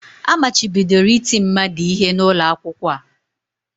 Amachibidoro iti mmadu ihe n'ụlọ akwụkwọ a